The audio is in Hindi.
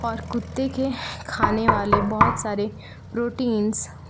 और कुत्ते के खाने वाले बहौत सारे प्रोटींस --